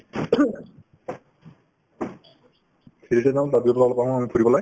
three D তে যাম তাৰপিছত আমি ফুৰিবলৈ